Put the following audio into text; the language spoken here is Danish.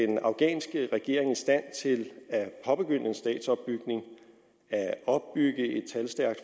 den afghanske regering i stand til at påbegynde en statsopbygning at opbygge et talstærkt